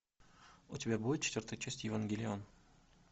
у тебя будет четвертая часть евангелион